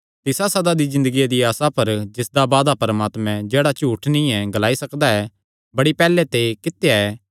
तिसा सदा दी ज़िन्दगिया दिया आसा पर जिसदा वादा परमात्मैं जेह्ड़ा झूठ नीं ग्लाई सकदा बड़ी पैहल्ले ते कित्या ऐ